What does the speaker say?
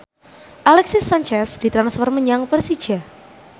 Alexis Sanchez ditransfer menyang Persija